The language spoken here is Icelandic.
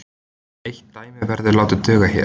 Eitt dæmi verður látið duga hér.